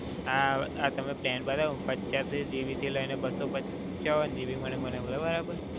આ, આ તમે plan બતાયો, પંચયાસી GB થી લઈને બસો પંચાવન GB મને મળે બરાબર?